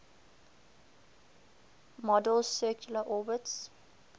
model's circular orbits